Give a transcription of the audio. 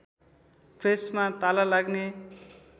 प्रेसमा ताला लाग्ने